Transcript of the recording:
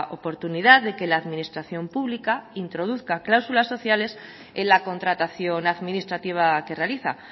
oportunidad de que la administración pública introduzca cláusulas sociales en la contratación administrativa que realiza